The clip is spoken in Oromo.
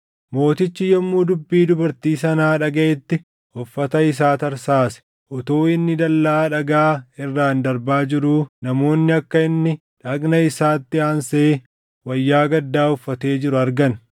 Mootichi yommuu dubbii dubartii sanaa dhagaʼetti uffata isaa tarsaase. Utuu inni dallaa dhagaa irraan darbaa jiruu namoonni akka inni dhagna isaatti aansee wayyaa gaddaa uffatee jiru argan.